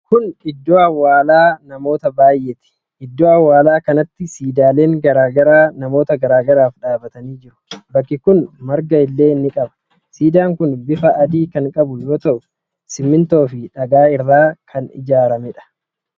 Kun Iddoo awwaalaa namoota baay'eeti. Iddoo awwaalaa kanatti siidaaleen garaa garaa namoota garaa garaaf dhaabatanii jiru. bakki kuni marga illee ni qaba. Siidaan kun bifa adii kan qabu yoo ta'u simintoo fi dhagaa irraa kan ijaaramedha.